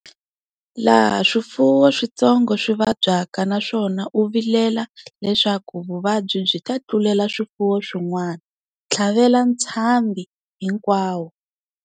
Laha swifuwo switsongo swi vabyaka naswona u vilela leswaku vuvabyi byi ta tlulela swifuwo swin'wana, tlhavela ntshambhi hinkwawo.